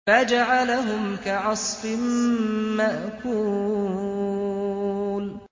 فَجَعَلَهُمْ كَعَصْفٍ مَّأْكُولٍ